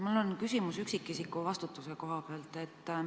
Mul on küsimus üksikisiku vastutuse kohta.